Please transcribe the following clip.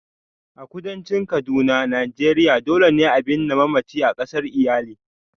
A kudancin kaduna Nigeria, dole ne a binne mamacin a kasar iyali.